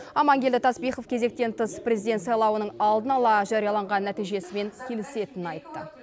аманкелді таспихов кезектен тыс президент сайлауының алдын ала жарияланған нәтижесімен келісетінін айтты